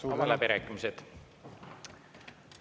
Avan läbirääkimised.